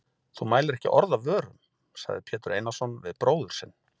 Þú mælir ekki orð af vörum, sagði Pétur Einarsson við bróður sinn.